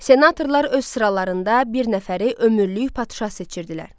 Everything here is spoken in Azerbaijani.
Senatorlar öz sıralarında bir nəfəri ömürlük padşah seçirdilər.